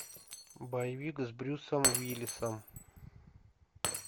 боевик с брюсом уиллисом